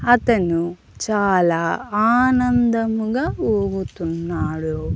అతను చాలా ఆనందముగా ఊగుతున్నాడు.